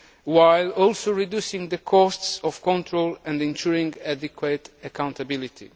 while also reducing the costs of control and ensuring adequate accountability.